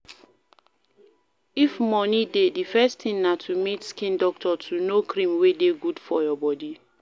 If money dey, di first thing na to meet skin doctor to know cream wey dey good for your body